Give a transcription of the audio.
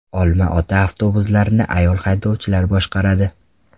Olma-Ota avtobuslarini ayol haydovchilar boshqaradi.